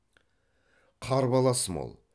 қарбалас мол